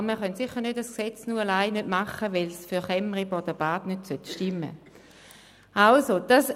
Aber wir können sicher nicht ein Gesetz nur deshalb nicht machen, weil es für Kemmeriboden-Bad nicht stimmen soll.